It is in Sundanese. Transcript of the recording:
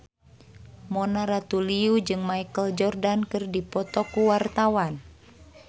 Mona Ratuliu jeung Michael Jordan keur dipoto ku wartawan